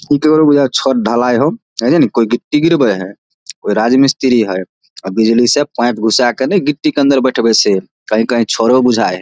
इ केकरो बुझाय हेय छत ढलाएय हो है जे नि कोय गिट्टी गिरबे हेय कोई राज मिस्त्री हेय अ बिजली से पाइप घुसा के ने गिट्टी के अंदर बैठबे से कही कही छरो बुझाय हेय ।